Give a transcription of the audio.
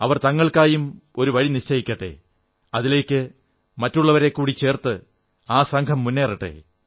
അവർ തങ്ങൾക്കായും ഒരു വഴി നിശ്ചയിക്കട്ടെ അതിലേക്ക് മറ്റുള്ളവരെക്കൂടി ചേർത്ത് ആ സംഘം മുന്നേറട്ടെ